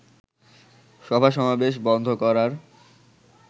সভাসমাবেশ বন্ধ করার